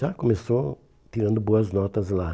Já começou tirando boas notas lá.